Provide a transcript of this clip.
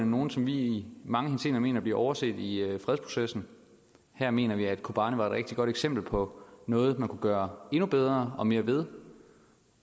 nogle som vi i mange henseender mener bliver overset i fredsprocessen og her mener vi at kobane er et rigtig godt eksempel på noget man kunne gøre endnu bedre og mere ved